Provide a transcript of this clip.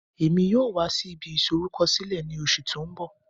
Emi yoo wa si ibi isorukọsilẹ ni oṣu ti n bọ